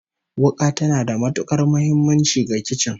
Wuka tana da matukar muhimmanci ga kicin